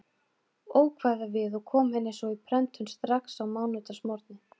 Ókvæða við og kom henni svo í prentun strax á mánudagsmorgni.